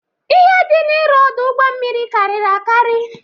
Ihe dị ịrụ ọdụ ụgbọ mmiri karịrị akari.